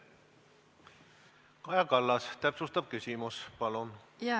Kaja Kallas, täpsustav küsimus, palun!